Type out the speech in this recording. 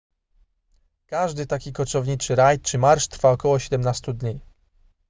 każdy taki koczowniczy rajd czy marsz trwa około 17 dni